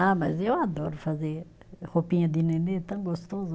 Ah, mas eu adoro fazer roupinha de nenê, é tão gostoso